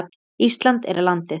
Ísland er landið.